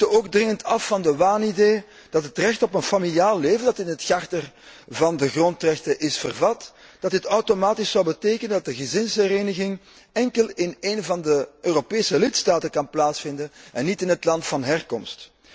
We moeten ook dringend af van de waanidee dat het recht op een familiaal leven dat in het Handvest van de grondrechten is vervat, dat dit automatisch zou betekenen dat de gezinshereniging enkel in een van de Europese lidstaten kan plaatsvinden en niet in het land van herkomst.